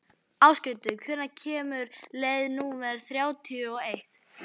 Ásgautur, hvenær kemur leið númer þrjátíu og eitt?